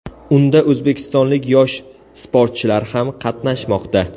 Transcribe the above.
Unda o‘zbekistonlik yosh sportchilar ham qatnashmoqda.